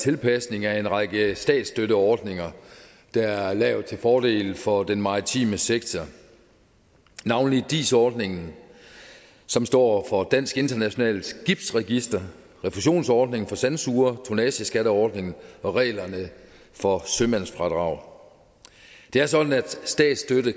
tilpasning af en række statsstøtteordninger der er lavet til fordel for den maritime sektor navnlig dis ordningen som står for dansk internationalt skibsregister refusionsordningen for sandsugere tonnageskatteordningen og reglerne for sømandsfradrag det er sådan at statsstøtte